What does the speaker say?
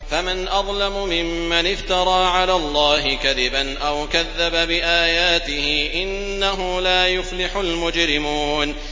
فَمَنْ أَظْلَمُ مِمَّنِ افْتَرَىٰ عَلَى اللَّهِ كَذِبًا أَوْ كَذَّبَ بِآيَاتِهِ ۚ إِنَّهُ لَا يُفْلِحُ الْمُجْرِمُونَ